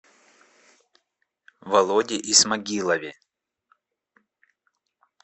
володе исмагилове